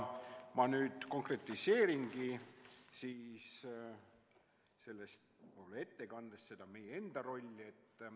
Ma nüüd konkretiseeringi selles ettekandes seda meie enda rolli.